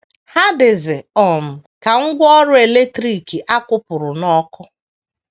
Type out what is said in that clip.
Ha dịzi um ka ngwá ọrụ eletrik a kwụpụrụ n’ọkụ.